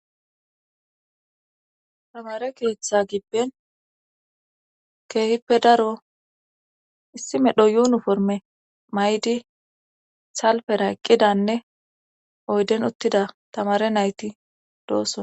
Tamare keeththa gibben keehippe daro issi medho yuunu forme maydi salfera eqqidanne oyden uttida tamare nayti doossona.